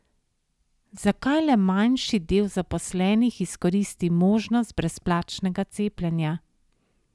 Zakaj le manjši del zaposlenih izkoristi možnost brezplačnega cepljenja?